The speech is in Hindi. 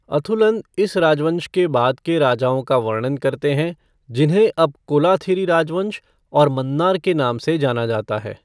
अथुलन इन राजवंश के बाद के राजाओं का वर्णन करते हैं जिन्हें अब कोलाथिरी राजवंश और मन्नार के नाम से जाना जाता है।